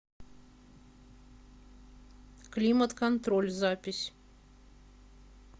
климат контроль запись